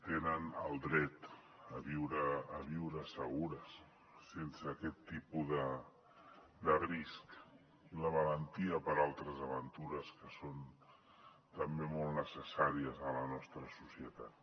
tenen el dret a viure segures sense aquest tipus de risc i la valentia per a altres aventures que són també molt necessàries a la nostra societat